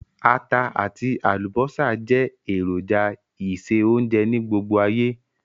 Ata àtí àlùbọ́sà je èròjà ìse-ounje ni gbogbo ayé